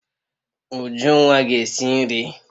Ujunwa ga esi nri